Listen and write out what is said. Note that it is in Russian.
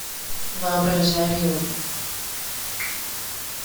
воображариум